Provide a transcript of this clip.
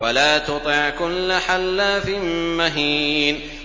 وَلَا تُطِعْ كُلَّ حَلَّافٍ مَّهِينٍ